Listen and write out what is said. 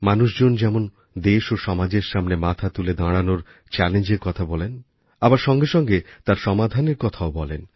মানুষজন যেমন দেশ ও সমাজের সামনে মাথা তুলে দাঁড়ানোর চ্যালেঞ্জের কথা বলেন আবার সঙ্গে সঙ্গে তার সমাধানের কথাও বলেন